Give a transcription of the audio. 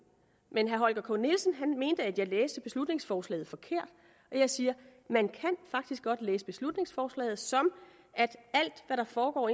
men herre holger k nielsen mente at jeg læste beslutningsforslaget forkert og jeg siger man kan faktisk godt læse beslutningsforslaget sådan at alt hvad der foregår